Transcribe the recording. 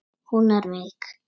Hún er veik.